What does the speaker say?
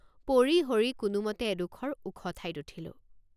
পৰিহৰি কোনোমতে এডোখৰ ওখ ঠাইত উঠিলোঁ।